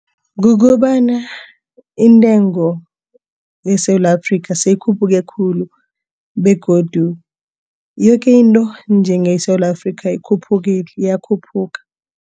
Kukobana intengo yeSewula Afrika seyikhuphe khulu begodu yoke into nje eSewula Afrika ikhuphukile iyakhuphuka.